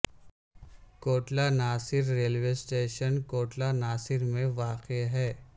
Kotla Nasir railway station Kotla Nasir میں واقع ہے